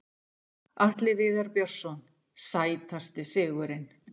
Atli Viðar Björnsson Sætasti sigurinn?